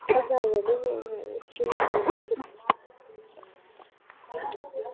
Kannski hafði tekið nokkurn tíma að skilja fyrirmælin.